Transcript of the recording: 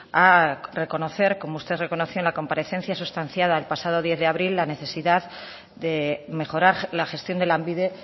a reconocer como usted reconoció en la comparecencia sustanciada el pasado diez de abril la necesidad de mejorar la gestión de lanbide